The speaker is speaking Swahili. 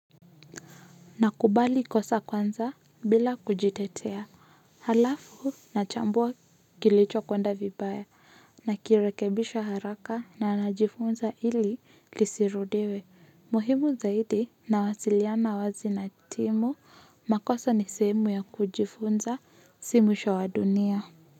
Nakubali kosa kwanza bila kujitetea, halafu nachambua kilicho kwenda vibaya nakirekebisha haraka na najifunza ili lisirudiwe. Muhimu zaidi nawasiliana wazi na timu, makosa ni sehemu ya kujifunza si mwisho wa dunia.